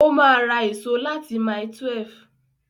Ó ma ra èso láti mile 12